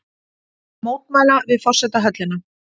Mótmæla við forsetahöllina